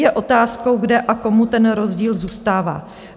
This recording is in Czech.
Je otázkou, kde a komu ten rozdíl zůstává.